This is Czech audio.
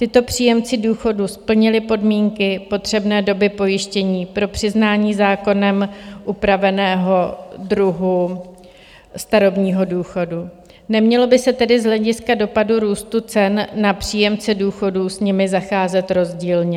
Tito příjemci důchodu splnili podmínky potřebné doby pojištění pro přiznání zákonem upraveného druhu starobního důchodu, nemělo by se tedy z hlediska dopadu růstu cen na příjemce důchodů s nimi zacházet rozdílně.